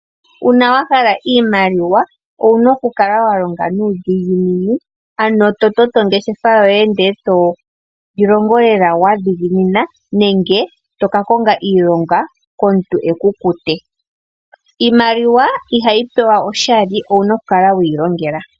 Uuna wahala oshimaliwa owuna oku longa nuudhiginini, ano to toto ongeshefa yoye ndele toyi longo lela wa dhiginina nenge toka konga iilonga komuntu eku kute. Iimaliwa ihayi gandjwa oshali, owuna okuyi longela.